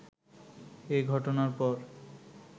এ ঘটনার পর